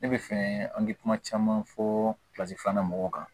Ne bɛ fɛ an bɛ kuma caman fɔ filanan mɔgɔw kan